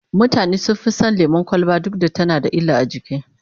mutane sun Fi San lemun kwalba duk da tana da illa a jiki